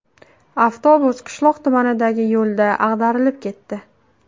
Avtobus qishloq tumanidagi yo‘lda ag‘darilib ketdi.